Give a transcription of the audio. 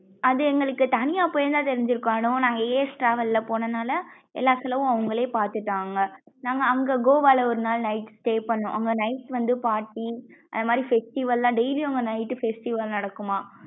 அது எங்களுக்கு தனியா போயிருந்தா தெரிஞ்சுருக்கும் அனு நாங்க as travel ல போனதுனால எல்லா செல்லவும் அவுங்களே பாத்துட்டாங்க நாங்க அங்க கோவால ஒரு நாள் night stay பண்ணோம் அங்க night வந்து party அதுமாரி festival லாம் daily அங்க night டு festival நடக்கும்மா?